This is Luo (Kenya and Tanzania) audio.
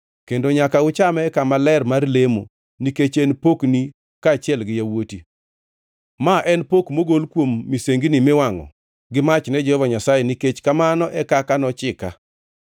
kendo nyaka uchame e kama ler mar lemo nikech en pokni kaachiel gi yawuoti. Ma en pok mogol kuom misengini miwangʼo gi mach ne Jehova Nyasaye nikech kamano e kaka nochika.